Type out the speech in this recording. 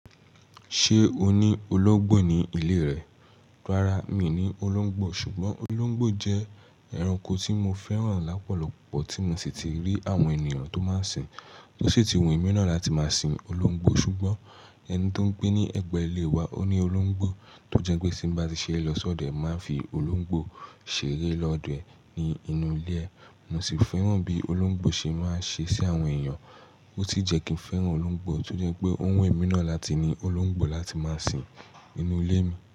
Ṣé o ní olóńgbò ní ilé rẹ? Rárá, mi ò ní olóńgbò, ṣùgbọ́n olóńgbò jẹ́ ẹranko tí mo fẹ́ràn lápọ̀lọ̀pọ̀ tí mo sì ti rí àwọn ènìyàn tó máa ń sìn, tó sì ti wù mí náà láti máa sin olóńgbò. Ṣùgbọ́n ẹni tó ń gbé ní ẹ̀gbẹ́ ilé wa ó ní olóńgbò, tó jẹ́ pé tí bá ti ṣe lọ́ sọ́dẹ̀ẹ́ máa ń fi olóńgbò ṣeré lọ́dọ̀ ẹ̀ ní inú ilé. Mo sì fẹ́ràn bí olóńgbò ṣe máa ń ṣe sí àwọn èèyàn, ó sì jẹ́ kí n fẹ́ràn olóńgbò, tó jẹ́ pé ó wù mí náà láti ní olóńgbò láti máa sin inú ilé mi.